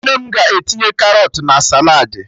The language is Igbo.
Nne m ga-etinye Karọt na saladị